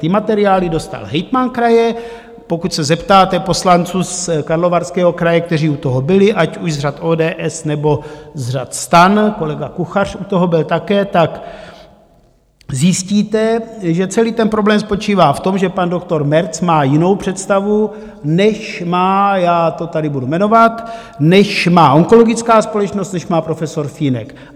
Ty materiály dostal hejtman kraje, pokud se zeptáte poslanců z Karlovarského kraje, kteří u toho byli, ať už z řad ODS, nebo z řad STAN, kolega Kuchař u toho byl také, tak zjistíte, že celý ten problém spočívá v tom, že pan doktor März má jinou představu, než má, já to tady budu jmenovat, než má onkologická společnost, než má profesor Fínek.